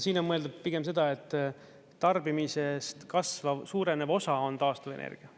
Siin on mõeldud pigem seda, et tarbimisest kasvav, suurenev osa on taastuvenergia.